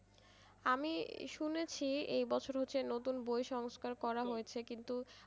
আমি শুনেছি এবছর হচ্ছে নতুন বই সংস্কার করা হয়েছে কিন্তু,